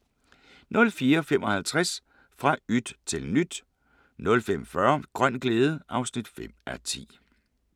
04:55: Fra yt til nyt 05:40: Grøn glæde (5:10)